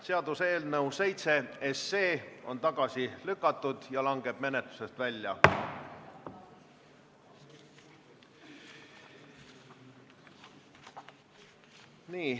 Seaduseelnõu number 7 on tagasi lükatud ja langeb menetlusest välja.